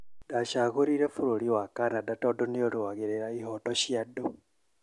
Ndacagũrire bũrũri wa Canada tondũ nĩruagĩrũra ihoto cia andu